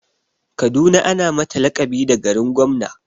Kaduna ana mata laƙabi da garin gwamna.